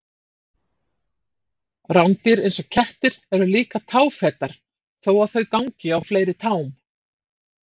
Rándýr eins og kettir eru líka táfetar þó að þau gangi á fleiri tám.